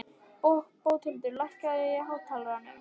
Bóthildur, lækkaðu í hátalaranum.